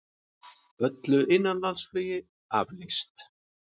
Öllu innanlandsflugi aflýst